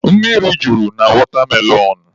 Mmiri juru na watermelon.